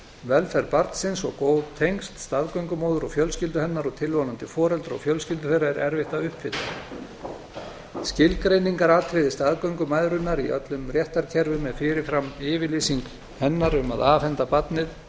velferð barnsins og góð tengsl staðgöngumóður og fjölskyldu hennar og tilvonandi foreldra og fjölskyldu þeirra er erfitt að uppfylla skilgreiningaratriði staðgöngumæðrunar í öllum réttarkerfum er fyrir fram yfirlýsing hennar um að afhenda barnið